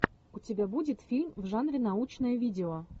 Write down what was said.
у тебя будет фильм в жанре научное видео